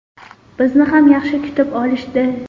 Bizni ham yaxshi kutib olishdi.